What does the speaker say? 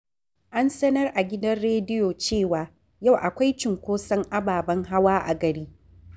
An sanar a gidan rediyo cewa yau akwai cunkoson ababen hawa a gari.